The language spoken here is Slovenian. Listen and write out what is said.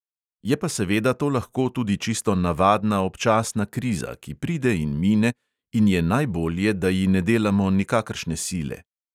Je pa seveda to lahko tudi čisto navadna občasna kriza, ki pride in mine in je najbolje, da ji ne delamo nikakršne sile.